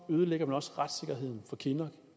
ødelægger man også retssikkerheden for kinnock